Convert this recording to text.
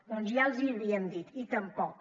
doncs ja els hi havíem dit i tampoc